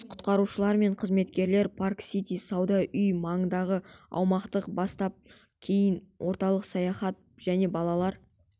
жас құтқарушылар мен қызметкерлер парк сити сауда үйі маңындағы аумақтан бастап кейін орталық саябақ және балалар